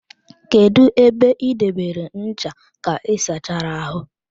Kedụ ebe ị debere ncha ka ịsachara ahụ?